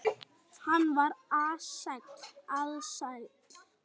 Hann var ALSÆLL.